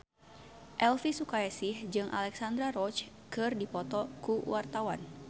Elvi Sukaesih jeung Alexandra Roach keur dipoto ku wartawan